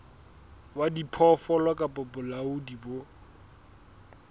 wa diphoofolo kapa bolaodi bo